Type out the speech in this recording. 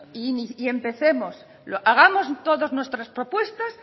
y empecemos hagamos todos nuestras propuestas